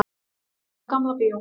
Óperan kveður Gamla bíó